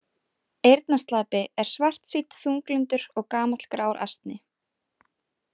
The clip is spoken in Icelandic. Eyrnaslapi er svartsýnn, þunglyndur og gamall grár asni.